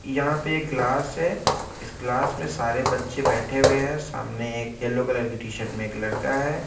यहाँ पे क्लास है इस क्लास में सारे बच्चे बैठे हुए है सामने एक येल्लो कलर की टी-शर्ट में एक लड़का है।